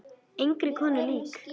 Engri konu lík.